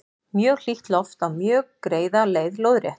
mjög hlýtt loft á mjög greiða leið lóðrétt